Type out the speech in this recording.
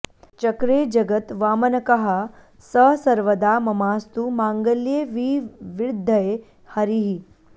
चक्रे जगत् वामनकः स सर्वदा ममास्तु माङ्गल्यविवृद्धये हरिः